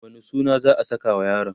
wani suna za'a sakawa yaron?